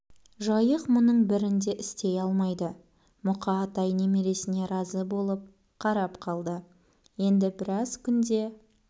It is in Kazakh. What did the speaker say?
жайық мұның бірін де істей алмайды мұқа атай немересіне разы болып қарап қалды енді біраз күнде